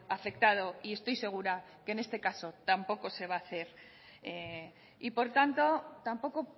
afectado y estoy segura que en este caso tampoco se va a hacer y por tanto tampoco